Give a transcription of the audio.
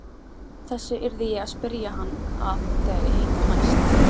Þessu yrði ég að spyrja hann að þegar ég hitti hann næst.